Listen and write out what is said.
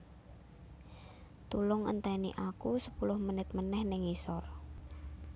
Tulung enteni aku sepuluh menit meneh ning ngisor